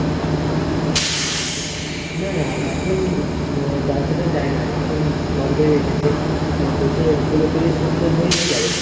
না না এখন ব্যবসাটা যায় না, এখন বন্ধই রেখেছে। বলছে পুরোপুরি সুস্থ হয়ে নিয়ে যাবে।